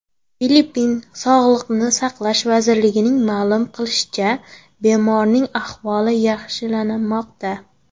Filippin Sog‘liqni saqlash vazirligining ma’lum qilishicha, bemorning ahvoli yaxshilanmoqda.